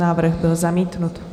Návrh byl zamítnut.